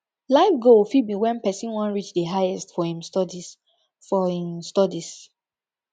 life goal fit be when person wan reach di highest for im studies for im studies